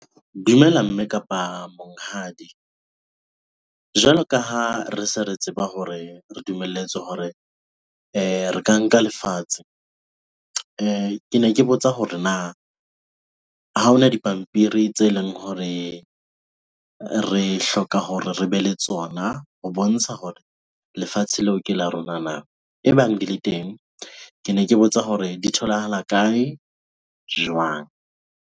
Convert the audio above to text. Dumela mme kapa monghadi. Jwalo ka ha re se re tseba hore re dumelletswe hore re ka nka lefatshe. Kene ke botsa hore na ha hona dipampiri tse leng hore re hloka hore re be le tsona ho bontsha hore lefatshe leo ke la rona na? Ebang di le teng, kene ke botsa hore di tholahala kae? Jwang?